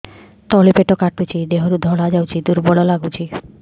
ତଳି ପେଟ କାଟୁଚି ଦେହରୁ ଧଳା ଯାଉଛି ଦୁର୍ବଳ ଲାଗୁଛି